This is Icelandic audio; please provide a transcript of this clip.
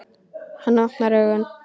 Hann opnar augun.